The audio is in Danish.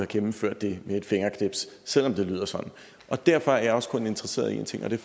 gennemført det med et fingerknips selv om det lyder sådan derfor er jeg også kun interesseret i en ting og det